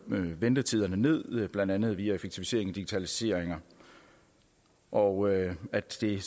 ventetiderne ned blandt andet via en effektivisering og digitalisering og at det